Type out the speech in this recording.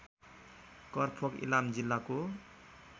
करफोक इलाम जिल्लाको